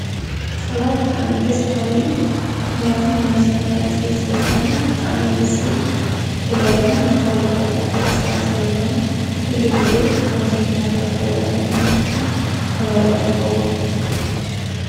ፀባ ብጣዕሚ ደስ በሃሊ እዩ። ምክንያቱ ንነብስና ሃናፂ ስለ ዝኾነ ብጣዕሚ እዩ ደስ ዝብል። ብፍላይ ድም ናብ ፋብሪካ ዝኣተወ ፀባ ስለ ዝኾነ ኩሉ ግዜ ከምዚ ናብ ፋብሪካ ዝኣወ እተንጥቀም ተመራፂ ይኸውን።